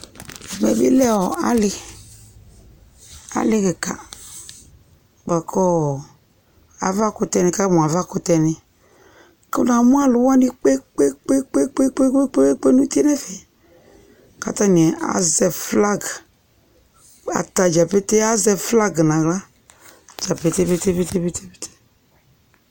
ɛmɛ bi lɛ ɔ ali ali kika baku ɔ nikamu aʋa kutɛ ni ku na mu alu wani kpekpekpeŋ nu utie nu ɛfɛ ku atani azɛ flag atadja pete azɛ flag nu axla